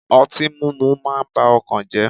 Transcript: Ọtí múmu máa ń ba ọkàn jẹ́.